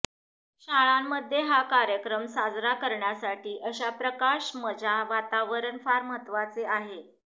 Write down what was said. शाळांमध्ये हा कार्यक्रम साजरा करण्यासाठी अशा प्रकाश मजा वातावरण फार महत्वाचे आहे